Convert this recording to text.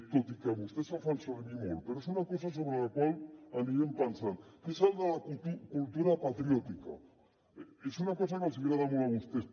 tot i que vostès el fan servir molt però és una cosa sobre la qual anirem pensant que és el de la cultura patriòtica és una cosa que els hi agrada molt a vostès